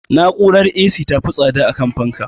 Na'urar A.C ta fi tsada akan fanka